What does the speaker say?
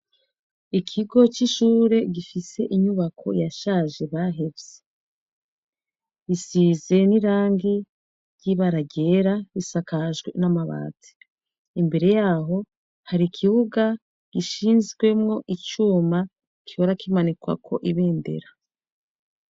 Ikigo c'ishure gifise inyubako yashaje bahevye. Gisize n'irangi ry'ibara ryera, isakajwe n'amabati. Imbere yaho hari ikibuga gishinzwemo icuma gihora kimanikwako ibendera.